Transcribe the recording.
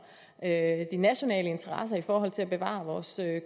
de nationale interesser i forhold til at bevare vores